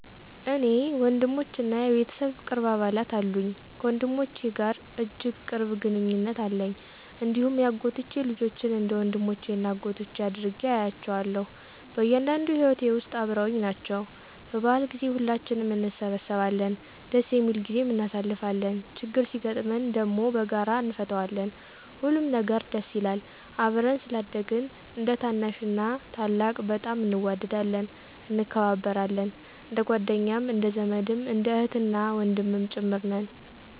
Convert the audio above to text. እኔ ወንድሞችና የቤተሰብ ቅርብ አባላት አሉኝ። ከወንድሞቼ ጋር እጅግ ቅርብ ግንኙነት አለኝ፣ እንዲሁም የአጎቶቼ ልጆችን እንደ ወንድሞቼና እኅቶቼ አድርጌ እያቸዋለሁ። በእያንዳንዱ ሂወቴ ውስጥ አበረውኝ ናቸው። በበዓል ጊዜ ሁላችንም እንሰበሰባለን ደስ የሚል ጊዜም እናሳልፋለን። ችግር ሲገጥመን ደም በጋራ እነፈታዋለን፣ ሁሉም ነገር ደስ ይላል። አብረን ስላደግን እንደታናሽና ታላቅ በጣም እንዋደዳለን፣ እንከባበራለን። እንደጓደኛም እንደዘመድም እንደ እህትና ወንድምም ጭምር ነን።